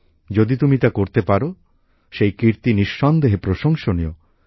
যদি তুমি তা করতে পারো সেই কীর্তি নিঃসন্দেহে প্রসংশনীয়